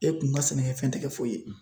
E kun ka sɛnɛkɛfɛn tɛ kɛ foyi ye